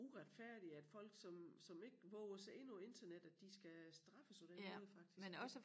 Uretfærdigt at folk som som ikke vover sig ind på æ internet at de skal straffes på den måde faktisk det